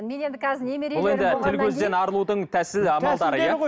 мен енді қазір бұл енді тіл көзден арылудың тәсілі амалдары иә